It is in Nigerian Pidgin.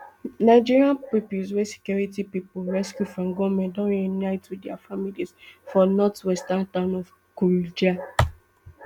nigerian pupils wey security pipo rescue from gunmen don reunite wit dia families for northwestern town of kuriga